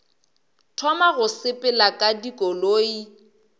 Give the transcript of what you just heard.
thoma go sepela ka dikoloi